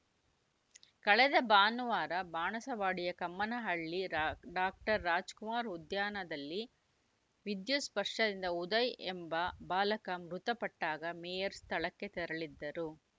ಕಳೆದ ಭಾನುವಾರ ಬಾಣಸವಾಡಿಯ ಕಮ್ಮನಹಳ್ಳಿ ಡಾಕ್ಟರ್ ರಾಜ್‌ಕುಮಾರ್‌ ಉದ್ಯಾನದಲ್ಲಿ ವಿದ್ಯುತ್‌ ಸ್ಪರ್ಶದಿಂದ ಉದಯ್‌ ಎಂಬ ಬಾಲಕ ಮೃತಪಟ್ಟಾಗ ಮೇಯರ್‌ ಸ್ಥಳಕ್ಕೆ ತೆರಳಿದ್ದರು